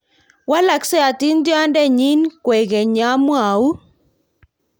waloksei atindionde nyin kwekeny ya mwou